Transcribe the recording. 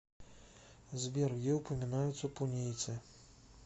сбер где упоминается пунийцы